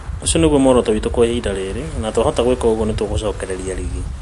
Ũcio nĩguo muoroto witũ kwa ihinda rĩrĩ na twahota gwĩka ũguo nĩtũgũcokereria rigi